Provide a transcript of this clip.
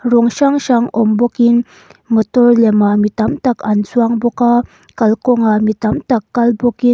rawng hrang hrang awm bawkin mawtawr lemah mi tam tak an chuang bawk a kalkawngah mi tam tak kal bawkin--